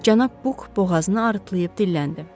Cənab Buk boğazını harıltlayıb dilləndi.